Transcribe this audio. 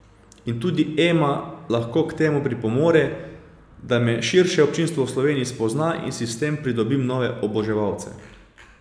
In tudi Ema lahko k temu pripomore, da me širše občinstvo v Sloveniji spozna in si s tem pridobim nove oboževalce.